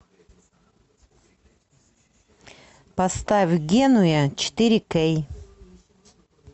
поставь генуя четыре кей